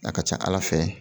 A ka ca Ala fɛ